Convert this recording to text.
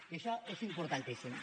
i això és importantíssim